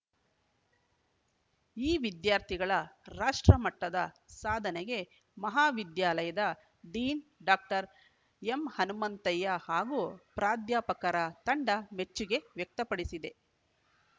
ಈ ವಿದ್ಯಾರ್ಥಿಗಳ ರಾಷ್ಟ್ರಮಟ್ಟದ ಸಾಧನೆಗೆ ಮಹಾ ವಿದ್ಯಾಲಯದ ಡೀನ್‌ ಡಾಕ್ಟರ್ ಎಂಹನುಮಂತಯ್ಯ ಹಾಗೂ ಪ್ರಾದ್ಯಾಪಕರ ತಂಡ ಮೆಚ್ಚುಗೆ ವ್ಯಕ್ತಪಡಿಸಿದೆ